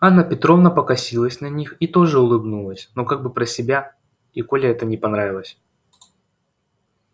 анна петровна покосилась на них и тоже улыбнулась но как бы про себя и коле это не понравилось